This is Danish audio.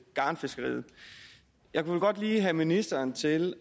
garnfiskeriet jeg vil godt lige have ministeren til